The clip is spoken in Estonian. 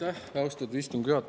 Aitäh, austatud istungi juhataja!